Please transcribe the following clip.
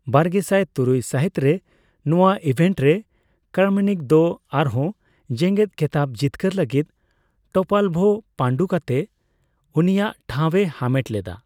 ᱵᱟᱨᱜᱮᱥᱟᱭ ᱛᱩᱨᱩᱭ ᱥᱟᱦᱤᱛᱨᱮ, ᱱᱚᱣᱟ ᱤᱵᱷᱮᱱᱴᱨᱮ ᱠᱨᱟᱢᱱᱤᱠ ᱫᱚ, ᱟᱨᱦᱚᱸ ᱡᱮᱸᱜᱮᱛ ᱠᱷᱮᱛᱟᱵᱽ ᱡᱤᱛᱠᱟᱹᱨ ᱞᱟᱹᱜᱤᱫ, ᱴᱳᱯᱟᱞᱵᱷᱳ ᱯᱟᱹᱰᱩ ᱠᱟᱛᱮ ᱩᱱᱤᱭᱟᱜ ᱴᱷᱟᱣ ᱮ ᱦᱟᱢᱮᱴ ᱞᱮᱫᱟ ᱾